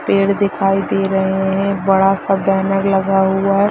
पेड़ दिखाई दे रहें हैं बड़ा सा बैनर लगा हुआ है।